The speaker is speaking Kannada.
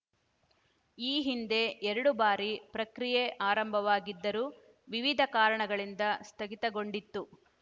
ಈ ಹಿಂದೆ ಎರಡು ಬಾರಿ ಪ್ರಕ್ರಿಯೆ ಆರಂಭವಾಗಿದ್ದರೂ ವಿವಿಧ ಕಾರಣಗಳಿಂದ ಸ್ಥಗಿತಗೊಂಡಿತ್ತು